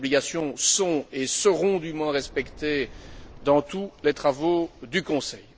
Ces obligations sont et seront dûment respectées dans tous les travaux du Conseil.